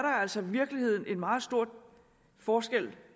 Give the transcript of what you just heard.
altså i virkeligheden en meget stor forskel